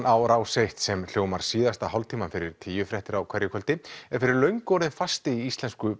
á Rás eitt sem hljómar síðasta hálftímann fyrir tíufréttir á hverju kvöldi er fyrir löngu orðinn fasti í íslensku